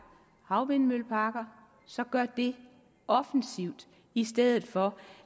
havvindmølleparker så gør det offensivt i stedet for